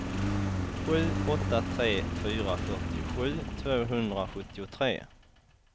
sju åtta tre fyra fyrtiosju tvåhundrasjuttiotre